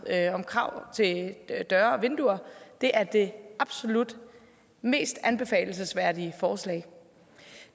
om krav til døre og vinduer er det absolut mest anbefalelsesværdige forslag